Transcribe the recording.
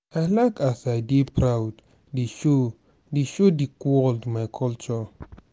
i like as i dey proud dey show dey show di world my culture.